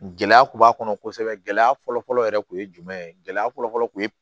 Gɛlɛya kun b'a kɔnɔ kosɛbɛ gɛlɛya fɔlɔfɔlɔ yɛrɛ tun ye jumɛn ye gɛlɛya fɔlɔfɔlɔ kun ye